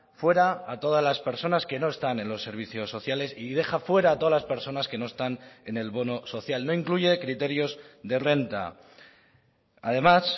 fuera a todas las personas que no están en los servicios sociales y deja fuera a todas las personas que no están en el bono social no incluye criterios de renta además